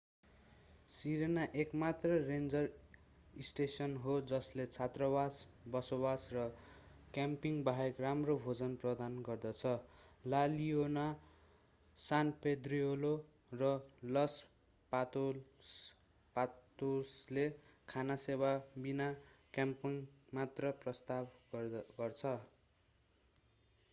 Serena एकमात्र ranger station हो जसले छात्रावास बसोबास र क्याम्पिङ बाहेक राम्रो भोजन प्रदान गर्दछ ला लियोना सान पेद्रिलो र लस पातोसले खाना सेवा बिना क्याम्पिङ मात्र प्रस्ताव गर्छन्